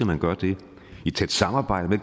man gør det i tæt samarbejde